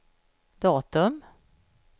datum